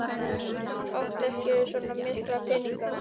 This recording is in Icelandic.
Hann átti ekki svo mikla peninga.